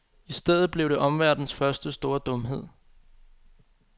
I stedet blev det omverdenens første store dumhed.